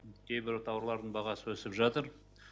кейбір тауардың бағасы өсіп жатыр